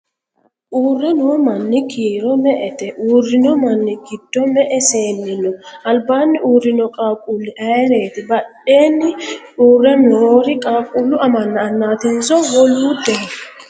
uure noo manni kiiro me'ete? uurino manni giddo me'e seenni no? alibaani uurino qaquuli ayireeti? badheenni uure noori qaquulu amanna annatinso woluudeho?